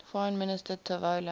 foreign minister tavola